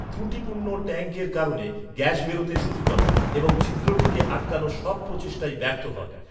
ত্রুটিপূর্ণ ট্যাঙ্কের কারণে গ্যাস বেরোতে শুরু করে এবং ছিদ্রটিকে আটকানোর সব প্রচেষ্টাই ব্যর্থ হয়।